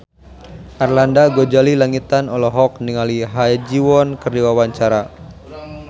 Arlanda Ghazali Langitan olohok ningali Ha Ji Won keur diwawancara